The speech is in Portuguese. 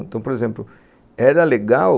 Então, por exemplo, era legal